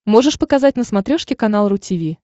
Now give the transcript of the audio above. можешь показать на смотрешке канал ру ти ви